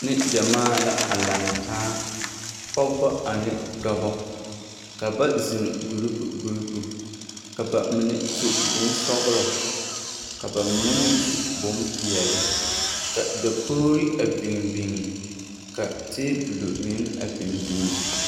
Neŋgyɛmaa la a lantaa, pɔgebɔ ane dɔbɔ ka ba zeŋ gurupu gurupu, ka bamine su bonsɔgelɔ ka bamine meŋ su bompeɛle ka dakogiri a biŋ biŋ ka teebulo meŋ a biŋ biŋ.